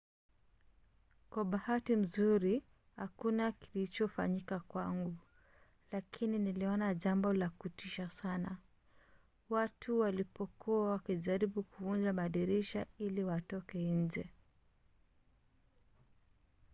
"kwa bahati nzuri hakuna klichofanyika kwangu lakini niliona jambo la kutisha sana watu walipokuwa wakijaribu kuvunja madirisha ili watoke nje